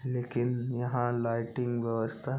लेकिन यहाँ लाइटिंग व्यवस्था--